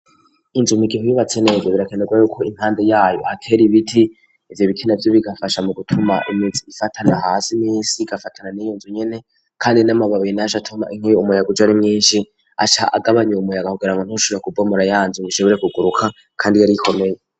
Injumi igiho yubatse nege birakenderwa yo ko impande yayo aker ibiti ibye ibikina byi bigafasha mu gutuma iminsi ifatana ahasi misi igafatana n'iyunzo nyine kandi n'amababiyi nasa toma inkiye umuyaga ujo ari myinshi aca agabanya umuyag kugerango ntushura ku bomora yanze bisebore kuguruka kandi yari yikomeye.